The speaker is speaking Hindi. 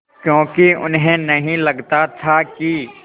क्योंकि उन्हें नहीं लगता था कि